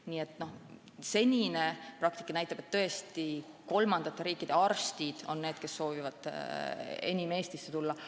Nii et senine praktika näitab, et just kolmandate riikide arstid on need, kes soovivad enim Eestisse tulla.